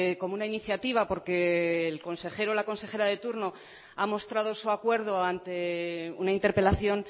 como una iniciativa porque el consejero o la consejera de turno ha mostrado su acuerdo ante una interpelación